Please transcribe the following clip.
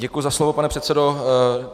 Děkuji za slovo, pane předsedo.